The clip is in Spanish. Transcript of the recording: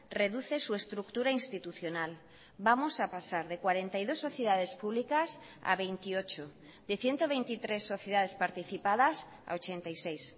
reduce su estructura institucional vamos a pasar de cuarenta y dos sociedades públicas a veintiocho de ciento veintitrés sociedades participadas a ochenta y seis